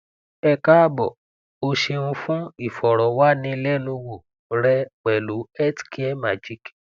e kaabo o ṣeun fun ifọrọwanilẹnuwo rẹ pẹlu health care magic